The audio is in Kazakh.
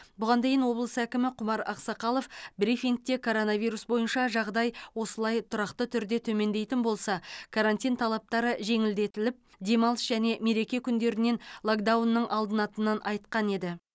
бұған дейін облыс әкімі құмар ақсақалов брифингте коронавирус бойынша жағдай осылай тұрақты түрде төмендейтін болса карантин талаптары жеңілдетіліп демалыс және мереке күндерінен локдаунның алынатынын айтқан еді